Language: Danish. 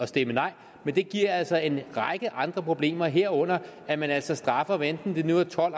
stemme nej men det giver altså en række andre problemer herunder at man altså straffer hvad enten det nu er tolv